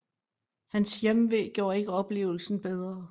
Hans hjemve gjorde ikke oplevelsen bedre